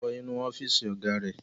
Folú wọ inú ọ́fíísì ọ̀gá rẹ̀.